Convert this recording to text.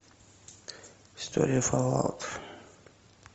история фаллаут